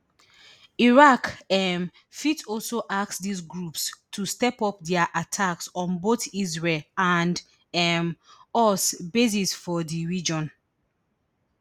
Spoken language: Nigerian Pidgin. iran um fit also ask dis groups to step up dia attacks on both israel and um us bases for di region